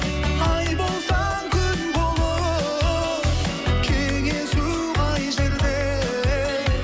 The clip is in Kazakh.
ай болсаң күн болып кеңесу қай жерде